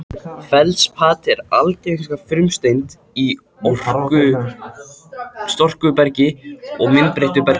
Feldspat er algengasta frumsteind í storkubergi og myndbreyttu bergi.